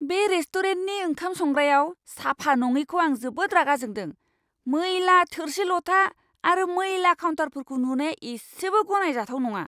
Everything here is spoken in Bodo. बे रेस्टुरेन्टनि ओंखाम संग्रायाव साफा नङिखौ आं जोबोद रागा जोंदों। मैला थोरसि लथा आरो मैला काउन्टारफोरखौ नुनाया इसेबो गनायजाथाव नङा!